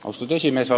Austatud esimees!